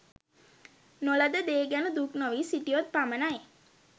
නො ලද දේ ගැන දුක් නොවී සිටියොත් පමණයි.